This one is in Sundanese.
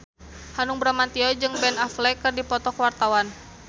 Hanung Bramantyo jeung Ben Affleck keur dipoto ku wartawan